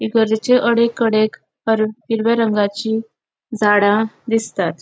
इंगरजेचे अडेककडे हिरव्या रंगाची झाड़ा दिसतात.